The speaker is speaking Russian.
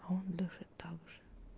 а он даже также